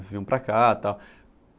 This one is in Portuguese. Vocês vinham para cá e tal.